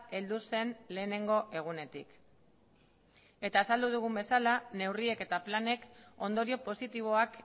heldu zen lehenengo egunetik eta azaldu dugun bezala neurriek eta planek ondorio positiboak